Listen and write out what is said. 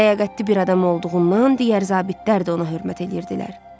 Ləyaqətli bir adam olduğundan digər zabitlər də ona hörmət eləyirdilər.